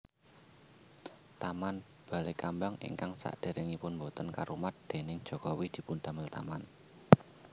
Taman Balekambang ingkang saderengipun boten karumat déning Jokowi dipundamel taman